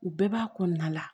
U bɛɛ b'a kɔnɔna la